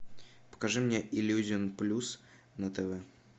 покажи мне иллюзион плюс на тв